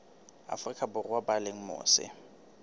afrika borwa ba leng mose